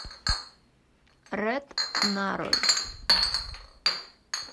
рэд нарой